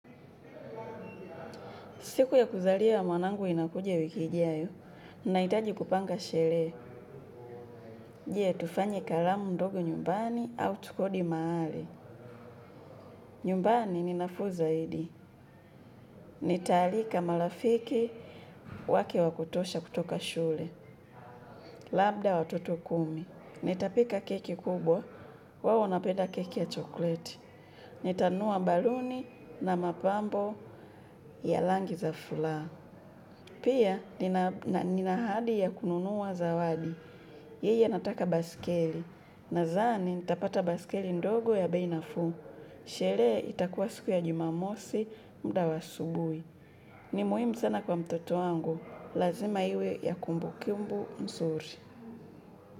Siku ya kuzaliwa ya mwanangu inakuja wiki ijayo, nahitaji kupanga shelee. Je tufanye kalamu ndogo nyumbani au tukodi maale. Nyumbani ni nafuu zaidi. Nitaalika malafiki wake wa kutosha kutoka shule. Labda watoto kumi. Nitapika keki kubwa. Wao wanapeda keki ya chokleti. Nitanua baluni na mapambo ya langi za fula. Pia, nina ahadi ya kununua zawadi. Yeye anataka basikeli. Nazani, nitapata basikeli ndogo ya bei nafuu. Sherehe itakua siku ya jumamosi mda wa ssubui. Ni muhimu sana kwa mtoto wangu. Lazima iwe ya kumbukumbu msuri.